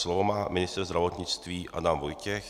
Slovo má ministr zdravotnictví Adam Vojtěch.